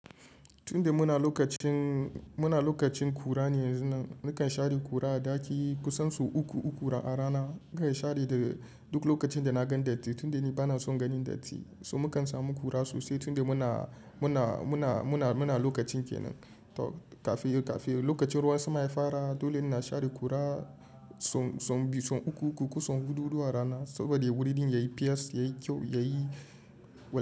Tunda muna lokacin, muna lokacin kura ne yanzun nan, nakan share kura a daki kusan sau uku uku a rana. Zan share da duk lokacin da na gan datti tunda ni bana son ganin datti. So mukan samu kura sosai tunda muna, muna, muna, muna, muna lokacin kenan. To kafiyo kafiyo lokacin ruwan sama ya fara dole ina share kura sau, sau biyu, sau uku uku ko sau huɗu huɗu a rana saboda wurin yayi fes yayi kyau, yayi w-